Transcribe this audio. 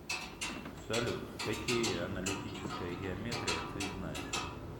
салют какие аналитическая геометрия ты знаешь